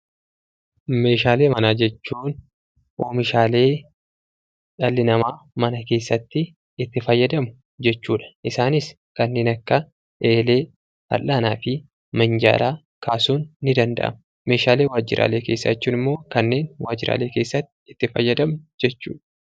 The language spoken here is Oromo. Meeshaalee manaa jechuun oomishaalee dhalli namaa mana keessatti itti fayyadamu jechuudha. Isaanis kanneen akka eelee, fal'aanaa fi minjaalaa kaasuun ni danda'ama. Meeshaalee waajjiraalee keessaa jechuun immoo kanneen waajjiraalee keessatti itti fayyadamnu jechuudha.